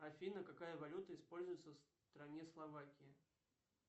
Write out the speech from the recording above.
афина какая валюта используется в стране словакия